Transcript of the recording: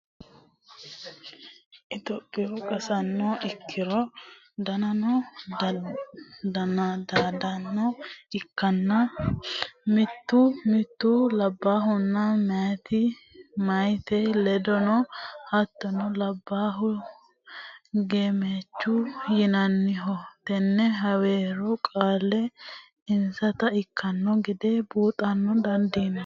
topiyu qnsaano ikkitinori doddanno dodaasine ikkitanna, mittu labbaahunna mitte meyaati leeltanno. hattono labbaahu gemechu yinanniho. tenne heewora qeelle insata ikkitino gede buuxa dandiinanni.